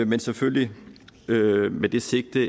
men selvfølgelig med det sigte